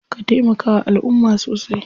Ka taimakawa alumma sosai.